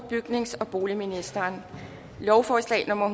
bygnings og boligministeren lovforslag nummer